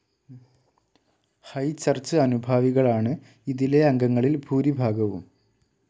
High Church അനുഭാവികളാണ് ഇതിലെ അംഗങ്ങളിൽ ഭൂരിഭാഗവും.